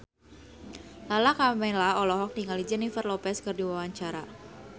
Lala Karmela olohok ningali Jennifer Lopez keur diwawancara